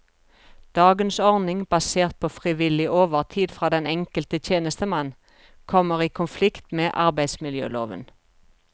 Dagens ordning, basert på frivillig overtid fra den enkelte tjenestemann, kommer i konflikt med arbeidsmiljøloven.